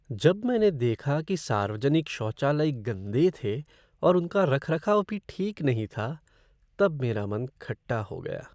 जब मैंने देखा कि सार्वजनिक शौचालय गंदे थे और उनका रखरखाव भी ठीक नहीं था तब मेरा मन खट्टा हो गया।